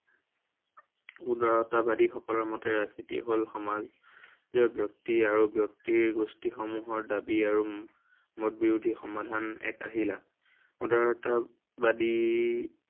উদাৰতাবাদী সকলৰ মতে ৰাজনীতিয়েই হল সমাজৰ ব্য়ক্তি আৰু ব্য়ক্তিৰ গোষ্ঠীসমূহৰ দাবী আৰু উম মত বিৰোধী সমাধান এক আহিলা। উদাৰতা বাদী